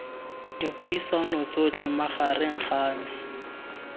dipuisano tsotlhe magareng ga me